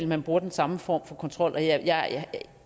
man bruger den samme form for kontrol og jeg er